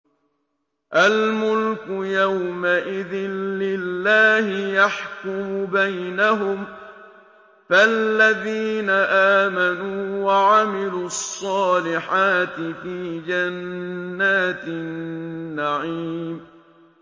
الْمُلْكُ يَوْمَئِذٍ لِّلَّهِ يَحْكُمُ بَيْنَهُمْ ۚ فَالَّذِينَ آمَنُوا وَعَمِلُوا الصَّالِحَاتِ فِي جَنَّاتِ النَّعِيمِ